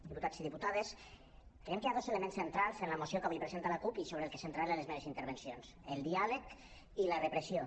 diputats i diputades creiem que hi ha dos elements centrals en la moció que avui presenta la cup i sobre el que centraré les meves intervencions el diàleg i la repressió